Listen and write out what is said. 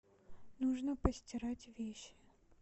нужно постирать вещи